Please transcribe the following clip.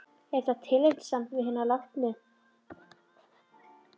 Og er þetta tillitssamt við hina látnu?